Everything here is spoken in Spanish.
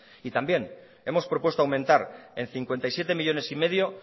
y también hemos propuesto aumentar en cincuenta y siete millónes y medio